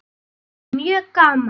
Bara mjög gaman.